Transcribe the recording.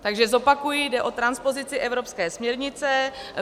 Takže zopakuji, jde o transpozici evropské směrnice.